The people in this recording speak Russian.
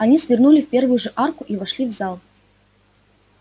они свернули в первую же арку и вошли в зал